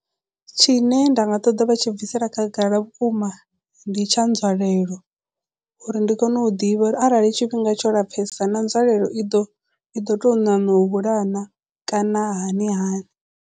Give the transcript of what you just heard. Tshine nda nga ṱoḓa vha tshi bvisela khagala vhukuma ndi tsha nzwalelo uri ndi kone u ḓivha uri arali tshifhinga tsho lapfesa na nzwalelo i ḓo i ḓo tou ṋaṋa u hula na kana hani hani.